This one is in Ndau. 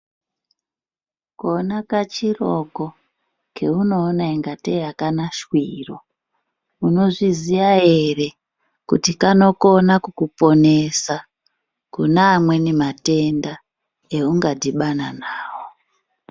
Kona kachiroko keunoona kungatei akana shwiro unozviziya ere kuti kanokona kukuponesa kuneamweni matenda ewunga dhibhana nawo.